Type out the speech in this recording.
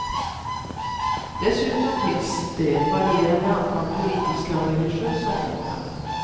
Dessutom finns det ett varierande antal politiska och religösa fångar.